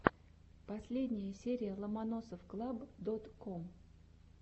последняя серия ломоносовклаб дот ком